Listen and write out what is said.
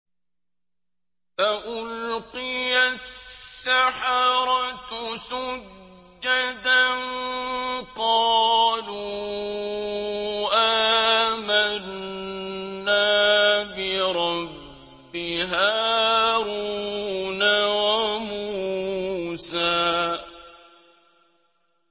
فَأُلْقِيَ السَّحَرَةُ سُجَّدًا قَالُوا آمَنَّا بِرَبِّ هَارُونَ وَمُوسَىٰ